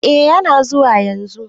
Eh yana zuwa yanzu.